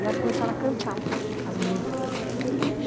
E elas começaram a cantar as músicas.